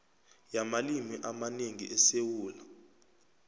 yamalimi amanengi esewula